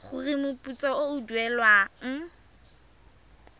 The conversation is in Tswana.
gore moputso o o duelwang